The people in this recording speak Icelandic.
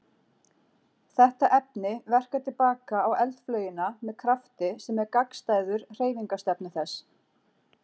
Þetta efni verkar til baka á eldflaugina með krafti sem er gagnstæður hreyfingarstefnu þess.